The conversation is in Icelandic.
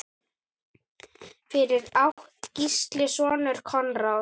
Fyrir átti Gísli soninn Konráð.